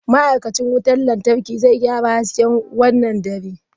Ma'aikacin wutar lantarki zai gyara hasken wannan dare.